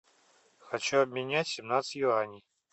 хочу обменять семнадцать юаней